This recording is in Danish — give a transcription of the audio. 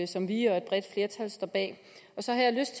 som vi og et bredt flertal står bag så har jeg lyst